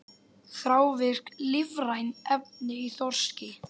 Þrávirk lífræn efni í þorski